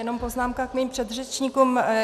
Jenom poznámka k mým předřečníkům.